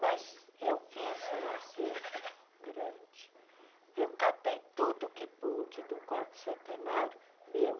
Mas eu fiz um acervo grande, eu catei tudo que pude do quarto centenário meu.